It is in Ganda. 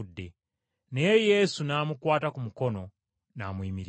Naye Yesu n’amukwata ku mukono n’amuyimiriza.